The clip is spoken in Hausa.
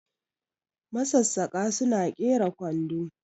masassaka sukna kera kwando